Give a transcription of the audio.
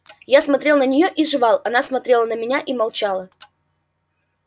я смотрел на неё и жевал она смотрела на меня и молчала